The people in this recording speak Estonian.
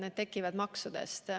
Need tekivad maksudest.